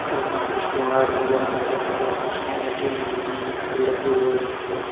अलमारी केवड़ वगेरा नजर आ रे है कुर्सिआं लगी हुई है मीटर लगे हुए है।